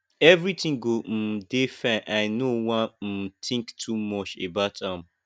everything go um dey fine i know wan um think too much about am